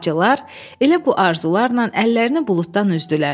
Bacılar, elə bu arzularla əllərini buluddan üzdülər.